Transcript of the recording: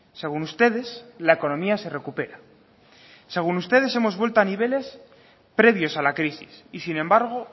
según ustedes la economía se recupera según ustedes hemos vuelto a niveles previos a la crisis y sin embargo